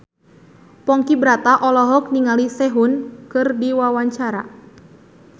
Ponky Brata olohok ningali Sehun keur diwawancara